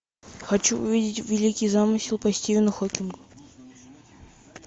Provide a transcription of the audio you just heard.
хочу увидеть великий замысел по стивену хокингу